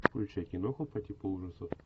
включай киноху по типу ужасов